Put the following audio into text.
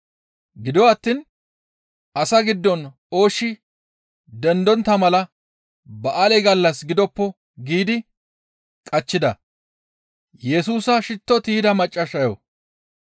Gido attiin, «Asaa giddon ooshshi dendontta mala ba7aale gallas gidoppo» giidi qachchida.